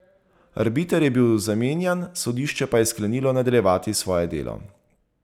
Arbiter je bil zamenjan, sodišče pa je sklenilo nadaljevati svoje delo.